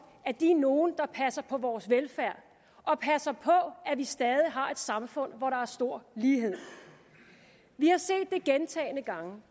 de er nogle der passer på vores velfærd og passer på at vi stadig har et samfund hvor der er stor lighed vi har set det gentagne gange